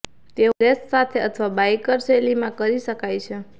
તેઓ લેસ સાથે અથવા બાઇકર શૈલીમાં કરી શકાય છે